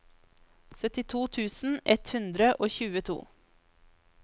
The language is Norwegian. syttito tusen ett hundre og tjueto